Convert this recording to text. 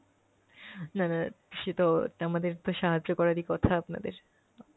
না না সে তো আমাদের তো সাহায্য করারই কথা আপনাদের।